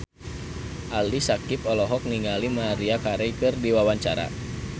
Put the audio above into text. Ali Syakieb olohok ningali Maria Carey keur diwawancara